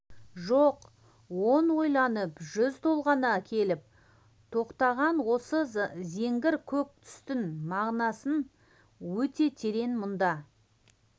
жоқ он ойланып жүз толғана келіп тоқтаған осы зеңгір көк түстің мағынасы өте терең мұнда